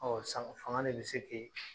sama faŋa de be se k'e